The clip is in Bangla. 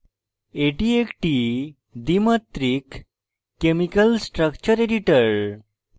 এটি একটি দ্বিমাত্রিক chemical structure editor